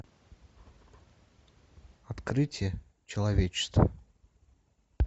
открытие человечества